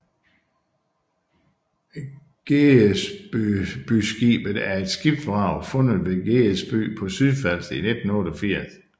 Gedesbyskibet er et skibsvrag fundet ved Gedesby på Sydfalster i 1988